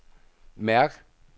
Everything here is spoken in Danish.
mærk